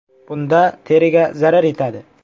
Bunda teriga zarar yetadi.